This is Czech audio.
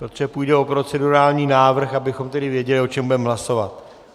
Protože půjde o procedurální návrh, abychom tedy věděli, o čem budeme hlasovat.